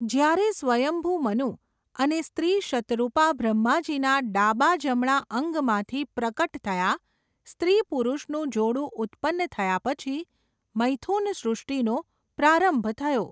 જ્યારે સ્વયંભુ મનું, અને સ્ત્રી શતરૂપા બ્રહ્માજીના ડાબા જમણા અંગમાંથી પ્રકટ થયા, સ્ત્રી પુરૂષનું જોડું ઉત્પન્ન થયા પછી, મૈથુન સૃષ્ટિનો પ્રારંભ થયો.